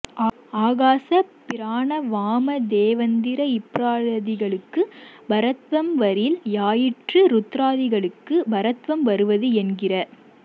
ஆகாச பிராண வாம தேவந்திர ப்ரஹ்லாதி களுக்குப் பரத்வம் வரில் யாயிற்று ருத்ராதிகளுக்கு பரத்வம் வருவது என்கிற